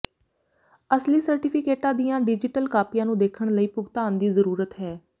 ਅਸਲੀ ਸਰਟੀਫਿਕੇਟਾਂ ਦੀਆਂ ਡਿਜੀਟਲ ਕਾਪੀਆਂ ਨੂੰ ਦੇਖਣ ਲਈ ਭੁਗਤਾਨ ਦੀ ਜ਼ਰੂਰਤ ਹੈ